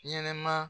Ɲɛnɛma